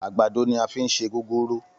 Àgbàdo ni a fi ń ṣe gúgúrú